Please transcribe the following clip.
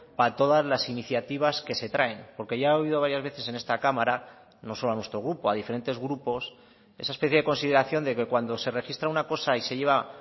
para todas las iniciativas que se traen porque ya he oído varias veces en esta cámara no solo a nuestro grupo a diferentes grupos esa especie de consideración de que cuando se registra una cosa y se lleva